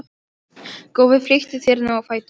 Góði flýttu þér nú á fætur.